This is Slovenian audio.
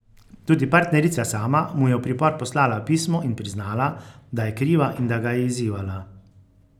Tudi partnerica sama mu je v pripor poslala pismo in priznala, da je kriva in da ga je izzivala.